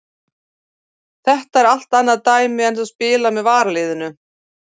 Þetta er allt annað dæmi en að spila með varaliðinu.